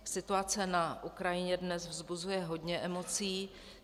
Situace na Ukrajině dnes vzbuzuje hodně emocí.